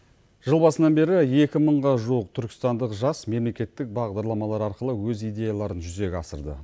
жыл басынан бері екі мыңға жуық түркістандық жас мемлекеттік бағдарламалар арқылы өз идеяларын жүзеге асырды